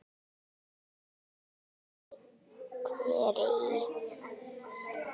Hún nýtir hveri í